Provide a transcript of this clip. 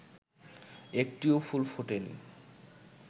একটিও ফুল ফোটে নি